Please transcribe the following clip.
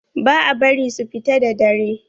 Ba a bari su fita da dare.